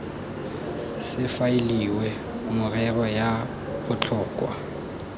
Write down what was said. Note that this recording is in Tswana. se faeliwe merero ya botlhokwa